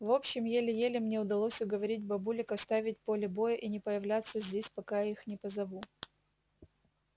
в общем еле-еле мне удалось уговорить бабулек оставить поле боя и не появляться здесь пока я их не позову